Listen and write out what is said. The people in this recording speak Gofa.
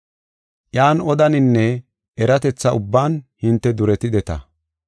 Iyan odaninne eratetha ubban hinte duretideta.